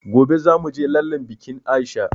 Gobe zamuje lallen bikin aisha